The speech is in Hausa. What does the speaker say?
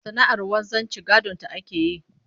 Sana'ar wanzanci gadonta ake yi